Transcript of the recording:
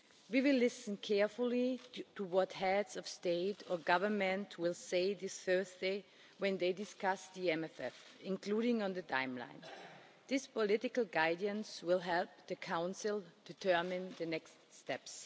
We will listen carefully to what heads of state or government will say this Thursday when they discuss the MFF, including its timeline. This political guidance will help the Council determine the next steps.